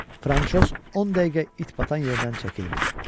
Fransoz 10 dəqiqə it batan yerdən çəkilmir.